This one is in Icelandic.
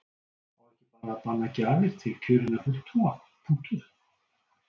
Á ekki bara að banna gjafir til kjörinna fulltrúa, punktur?